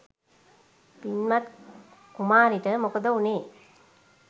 පින්වත් කුමාරිට මොකද වුණේ?